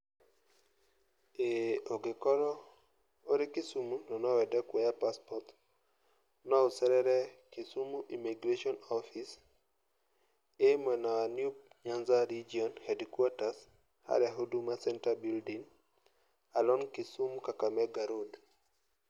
Ũngĩkorũo ũrĩ Kisumu, na no wende kũoya passport, no ũcerere Kisumu immigration office, ĩ mwena wa new Nyanza region headquarters harĩa huduma center building, along Kisumu-Kakamega road.